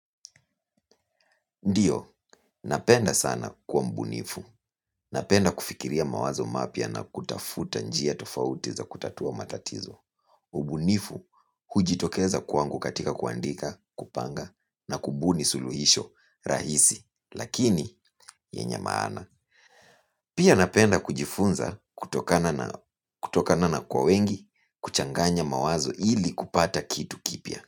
Ndiyo, napenda sana kuwa mbunifu. Napenda kufikiria mawazo mapya na kutafuta njia tofauti za kutatua matatizo. Ubunifu hujitokeza kwangu katika kuandika, kupanga, na kubuni suluhisho, rahisi. Lakini, yenye maana. Pia napenda kujifunza kutokana na kwa wengi, kuchanganya mawazo ili kupata kitu kipya.